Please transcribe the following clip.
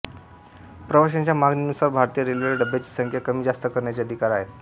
प्रवाशांच्या मागणीनुसार भारतीय रेल्वेला डब्यांची संख्या कमी जास्त करण्याचे अधिकार आहेत